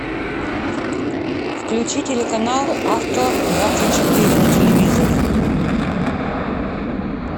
включи телеканал авто двадцать четыре на телевизоре